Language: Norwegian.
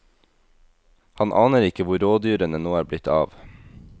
Han aner ikke hvor rådyrene nå er blitt av.